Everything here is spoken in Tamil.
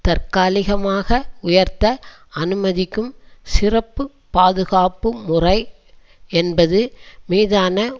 தற்காலிகமாக உயர்த்த அனுமதிக்கும் சிறப்பு பாதுகாப்பு முறை என்பது மீதான